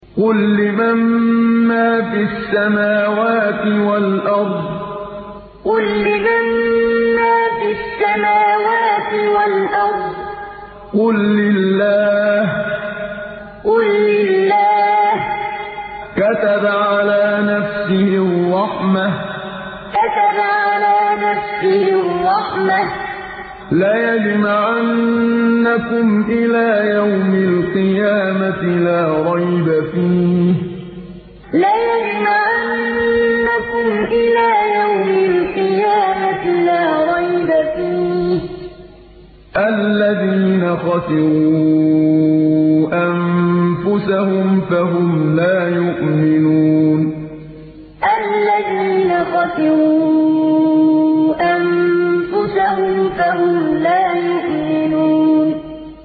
قُل لِّمَن مَّا فِي السَّمَاوَاتِ وَالْأَرْضِ ۖ قُل لِّلَّهِ ۚ كَتَبَ عَلَىٰ نَفْسِهِ الرَّحْمَةَ ۚ لَيَجْمَعَنَّكُمْ إِلَىٰ يَوْمِ الْقِيَامَةِ لَا رَيْبَ فِيهِ ۚ الَّذِينَ خَسِرُوا أَنفُسَهُمْ فَهُمْ لَا يُؤْمِنُونَ قُل لِّمَن مَّا فِي السَّمَاوَاتِ وَالْأَرْضِ ۖ قُل لِّلَّهِ ۚ كَتَبَ عَلَىٰ نَفْسِهِ الرَّحْمَةَ ۚ لَيَجْمَعَنَّكُمْ إِلَىٰ يَوْمِ الْقِيَامَةِ لَا رَيْبَ فِيهِ ۚ الَّذِينَ خَسِرُوا أَنفُسَهُمْ فَهُمْ لَا يُؤْمِنُونَ